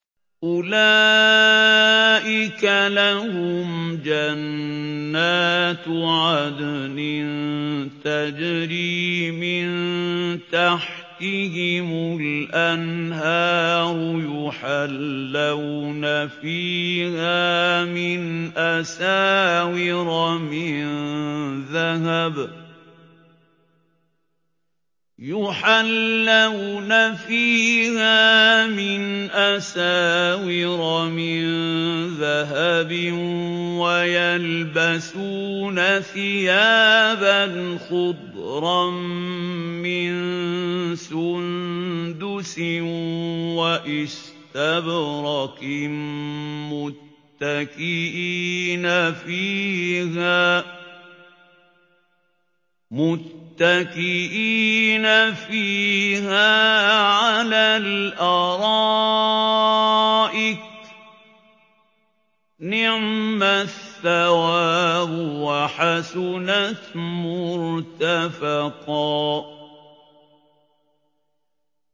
أُولَٰئِكَ لَهُمْ جَنَّاتُ عَدْنٍ تَجْرِي مِن تَحْتِهِمُ الْأَنْهَارُ يُحَلَّوْنَ فِيهَا مِنْ أَسَاوِرَ مِن ذَهَبٍ وَيَلْبَسُونَ ثِيَابًا خُضْرًا مِّن سُندُسٍ وَإِسْتَبْرَقٍ مُّتَّكِئِينَ فِيهَا عَلَى الْأَرَائِكِ ۚ نِعْمَ الثَّوَابُ وَحَسُنَتْ مُرْتَفَقًا